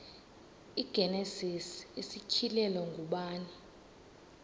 igenesis isityhilelo ngubani